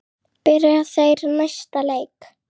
Byrja þeir næsta leik?